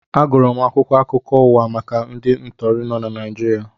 Agụrụ m akwụkwọ akụkọ ụwa maka ndị ntọri nọ na Naịjirịa